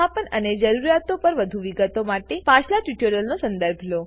સંસ્થાપન અને જરૂરિયાતો પર વધુ વિગતો માટે પાછલા ટ્યુટોરીયલનો સંદર્ભ લો